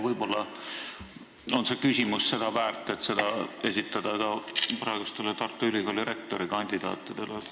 Võib-olla on see küsimus väärt ka praegustele Tartu Ülikooli rektorikandidaatidele esitamist.